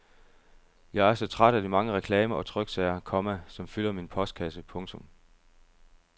Jeg er så træt af de mange reklamer og tryksager, komma som fylder min postkasse. punktum